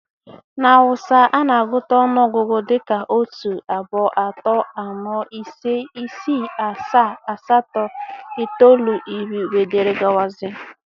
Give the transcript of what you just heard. Na Hausa, a na-agụta ọnụọgụgụ dị ka otu, abuo, ato, ano, ise, isí, asaa, asato itolu, irí, etc